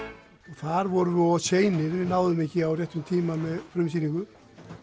þar vorum við of seinir við náðum ekki á réttum tíma með frumsýningu